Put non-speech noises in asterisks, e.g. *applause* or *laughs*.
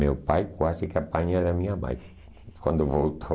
Meu pai quase que apanha da minha mãe *laughs* quando voltou.